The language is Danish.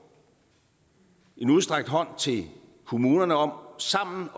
en udstrakt hånd til kommunerne om sammen